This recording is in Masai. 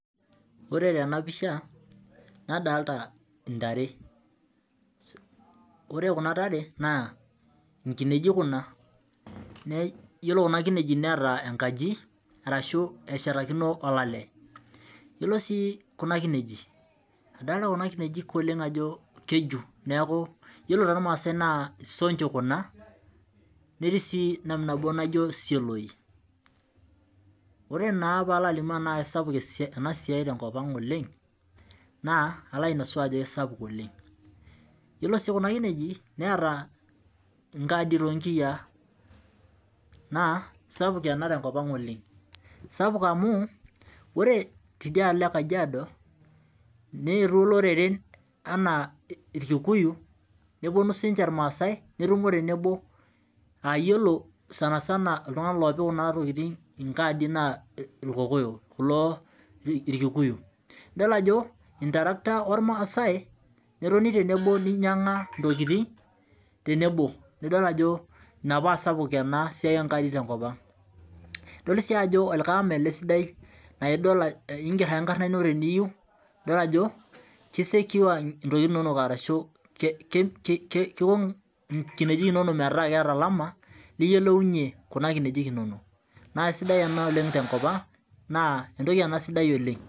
Ore tena pisha nadolita indare, ore kunatare naa inkineji kuna. Yiolo kuna kineji neeta enkaji arashu eshetakino olale. Yiolo sii kuna kinji, adolita kuna kineji oleng ajo keju nekau ore toormaassi naa isoncho kuna netii sii nabinabo naijio isioloi. Ore naa peyie alo alimu tenaa keisapuk ena siai tenkop ang oleng. Naa alo ainosu ajo eisapuk oleng, ore sii kuna kineji neeta inaarid too nkiyiaa naa eisapuk ena tenkop ang oleng amuu ore teidialo e Kajiado, neetuo iloreren anaa Irkikuyu neponu siinche imaasai neponu tenebo aah iyiolo sansana iltunganak oopik kuna tokin, inkaadi naa Irkikuyu. Idol ajo eitraractor ormaasai netoni tenebo neinyianga intokitin tenebo nidol ajo ina paa sapuk ena siai oonkaadi tenkop ang. Odol sii ajo olikae ama ele sidai laa inger ake enkarna ino teniyieu idol ajo keisecure intokitin inonok keiko inkineji inonok metaa keeta olama niyiolounye inkineji inonok. Eisapuk enasiai tenkop ang naa sidai sii